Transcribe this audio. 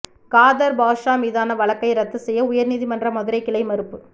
காதர் பாட்ஷா மீதான வழக்கை ரத்து செய்ய உயர்நீதிமன்ற மதுரைக் கிளை மறுப்பு